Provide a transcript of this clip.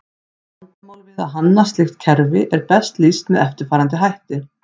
Vandamál við að hanna slíkt kerfi er best lýst með eftirfarandi hætti.